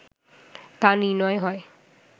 তা নির্ণয় হয়